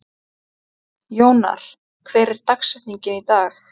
Jónar, hver er dagsetningin í dag?